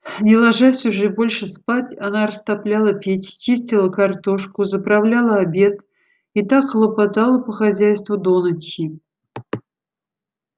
не ложась уже больше спать она растопляла печь чистила картошку заправляла обед и так хлопотала по хозяйству до ночи